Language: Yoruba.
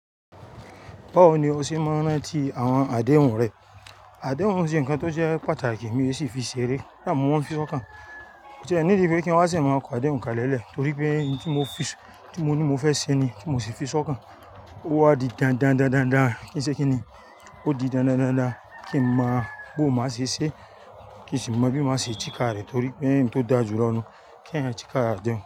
Báwo ni o ṣe máa ń rántí àwọn àdéhùn rẹ? Àdéhùn ṣe ńkan tó jẹ́ pàtàkì mi sì fi ṣeré koda mo mọ n fi sọ́kàn. Ko ti ẹ́ need pé kí n wá ṣe máa kọ àdéhùn kalẹ lẹ le torí pé ohun tí mo fi, tí mo ní mo fẹ́ ṣe ni tí mo sì fi sọ́kàn. Ó wá di dandan dandan dan kí n ṣe kí ni. Ó di dandan dandan kí ń mọ bó máa ṣe ṣé, kí n sì mọ bí máa ṣe ti káàrì torí pé ẹni tó dájú lọ́na kí ẹ yan ti káàrì àdéhùn.